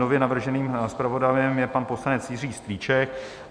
Nově navrženým zpravodajem je pan poslanec Jiří Strýček.